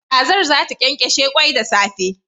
Kazar zata kyankyashe kwai da safe